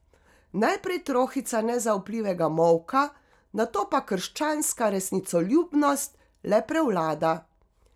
Najprej trohica nezaupljivega molka, nato pa krščanska resnicoljubnost le prevlada.